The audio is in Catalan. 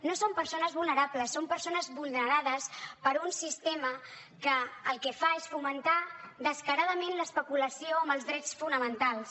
no són persones vulnerables són persones vulnerades per un sistema que el que fa és fomentar descaradament l’especulació amb els drets fonamentals